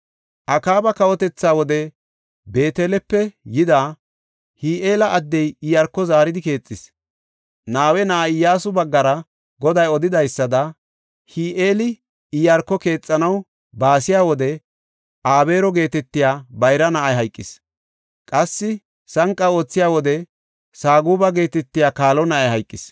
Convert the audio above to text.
Akaaba kawotethaa wode Beetelepe yida, Hi7eela addey Iyaarko zaaridi keexis. Nawe na7aa Iyyasu baggara Goday odidaysada, Hi7eeli Iyaarko keexanaw baasiya wode Abeero geetetiya bayra na7ay hayqis. Qassi sanqa aathiya wode Saguba geetetiya kaalo na7ay hayqis.